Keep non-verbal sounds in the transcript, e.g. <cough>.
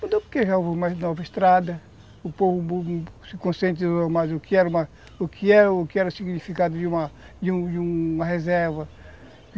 Mudou porque já houve mais nova estrada, o povo se conscientizou <unintelligible> mais no que era, o que era, <unintelligible> o significado de uma reserva.